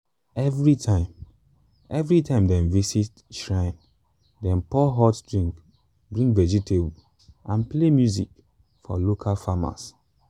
every time every time dem visit shrine dem pour hot drink bring vegetable and play music from local farmers.